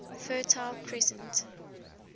fertile crescent